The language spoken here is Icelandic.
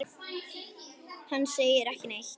Hann segir ekki neitt.